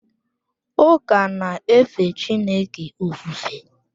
Ụka na-efe Chineke ofufe.